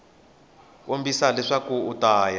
kombisa leswaku u ta ya